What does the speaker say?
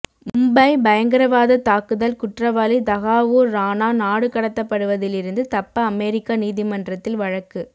மும்பை பயங்கரவாதத் தாக்குதல் குற்றவாளி தஹாவூா் ராணாநாடுகடத்தப்படுவதிலிருந்து தப்ப அமெரிக்க நீதிமன்றத்தில் வழக்கு